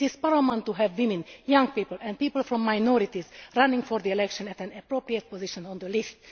It is paramount to have women, young people and people from minorities running for the elections at an appropriate position on the list.